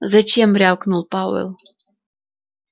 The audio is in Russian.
зачем рявкнул пауэлл